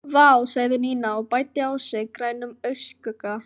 Vá sagði Nína og bætti á sig grænum augnskugga.